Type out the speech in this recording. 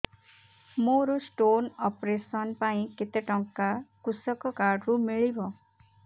ମୋର stone operation ପାଇଁ କେତେ ଟଙ୍କା କୃଷକ କାର୍ଡ ରୁ ମିଳିବ